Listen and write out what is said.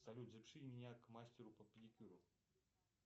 салют запиши меня к мастеру по педикюру